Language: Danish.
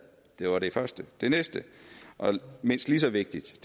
det var det første det næste og mindst lige så vigtige